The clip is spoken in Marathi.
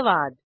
धन्यवाद